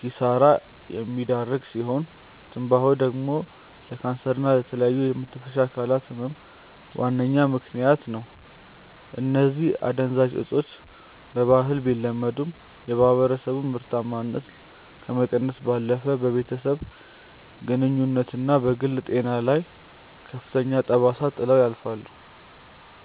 ኪሳራ የሚዳርግ ሲሆን፤ ትንባሆ ደግሞ ለካንሰር እና ለተለያዩ የመተንፈሻ አካላት ህመም ዋነኛ ምከንያት ነው። እነዚህ አደንዛዥ እፆች በባህል ቢለመዱም፣ የማህበረሰቡን ምርታማነት ከመቀነስ ባለፈ በቤተሰብ ግንኙነትና በግል ጤና ላይ ከፍተኛ ጠባሳ ጥለው ያልፋሉ።